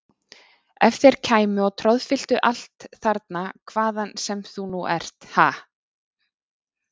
Ef þeir kæmu og troðfylltu allt þarna hvaðan sem þú nú ert, ha!